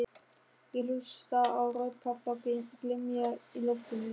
Ég hlusta á rödd pabba glymja í loftinu